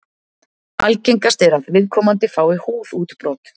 Algengast er að viðkomandi fái húðútbrot.